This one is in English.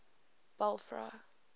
belfry